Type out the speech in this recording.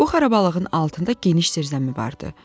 Bu xarabalıqın altında geniş zirzəmi vardı.